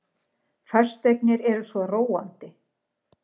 Fasteignir eru svo róandi.